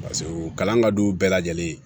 paseke o kalan ka d'u bɛɛ lajɛlen ye